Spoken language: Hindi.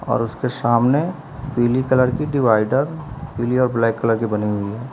और उसके सामने पीली कलर की डिवाइडर पीली और ब्लैक कलर की बनी हुई है।